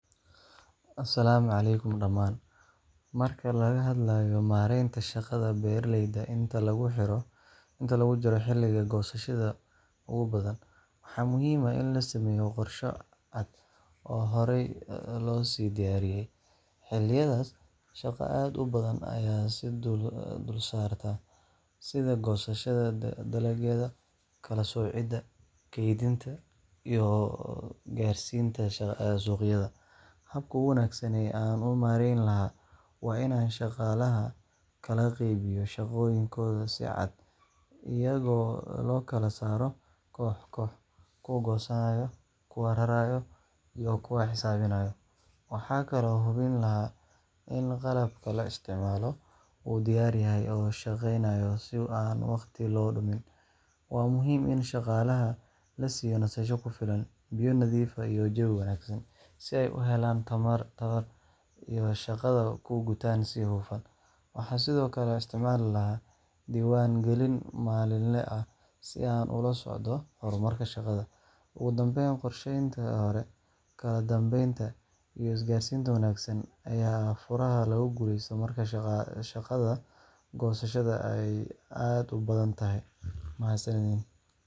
Asalaamu calaykum dhamaan. Marka laga hadlayo maareynta shaqada beeralayda inta lagu jiro xilliga goosashada ugu badan, waxaa muhiim ah in la sameeyo qorshe cad oo horay loo sii diyaariyay. Xilliyadaas, shaqo aad u badan ayaa is dul saarta, sida goosashada dalagyada, kala-soocidda, kaydinta, iyo gaarsiinta suuqyada. Habka ugu wanaagsan ee aan u maareyn lahaa waa inaan shaqaalaha kala qeybiyo shaqooyinkooda si cad, iyagoo loo kala saaro koox-koox, kuwa goosanaya, kuwa raraya, iyo kuwa xisaabinaya. Waxaan kaloo hubin lahaa in qalabka la isticmaalayo uu diyaar yahay oo shaqeynayo si aan waqti loo lumin. Waa muhiim in shaqaalaha la siiyo nasasho ku filan, biyo nadiif ah, iyo jawi wanaagsan si ay u helaan tamar ay shaqada ku gutaan si hufan. Waxaan sidoo kale isticmaali lahaa diiwaan-gelin maalinle ah si aan ula socdo horumarka shaqada. Ugu dambeyn, qorsheynta hore, kala dambeynta, iyo isgaarsiinta wanaagsan ayaa ah furaha lagu guuleysto marka shaqada goosashada ay aad u badan tahay. Mahadsanidiin.